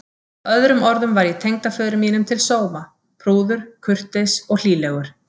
Með öðrum orðum var ég tengdaföður mínum til sóma: prúður, kurteis og hlýlegur.